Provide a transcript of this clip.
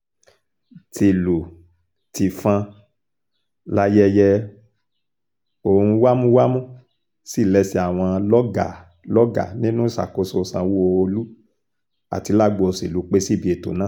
tìlù-tìfọ́n láyẹyẹ ohun wámúwámú sí lẹ́sẹ̀ àwọn lọ́gàá-lọ́gàá nínú ìṣàkóso sanwó-olu àti lágbo òṣèlú pẹ́ síbi ètò náà